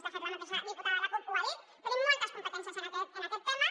de fet la mateixa diputada de la cup ho ha dit tenim moltes competències en aquest tema